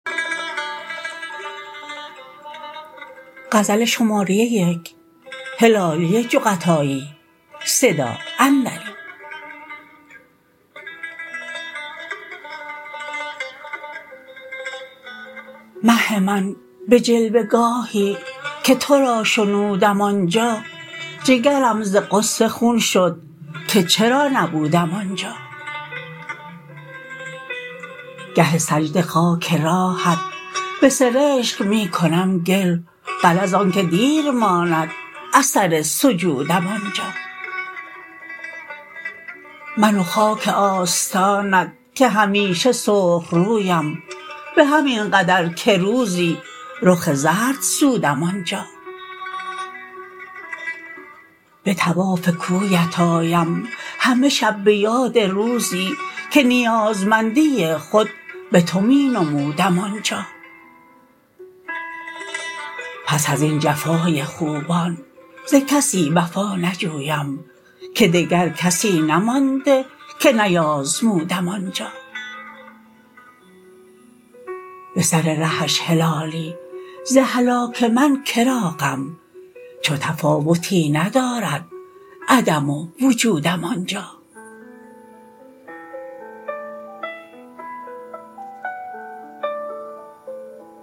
مه من بجلوه گاهی که ترا شنودم آنجا جگرم ز غصه خون شد که چرا نبودم آنجا گه سجده خاک راهت بسرشک می کنم گل غرض آنکه دیر ماند اثر سجودم آنجا من و خاک آستانت که همیشه سرخ رویم بهمین قدر که روزی رخ زرد سودم آنجا بطواف کویت آیم همه شب بیاد روزی که نیازمندی خود بتو می نمودم آنجا پس ازین جفای خوبان ز کسی وفا نجویم که دگر کسی نمانده که نیازمودم آنجا بسر رهش هلالی ز هلاک من کرا غم چو تفاوتی ندارد عدم و وجودم آنجا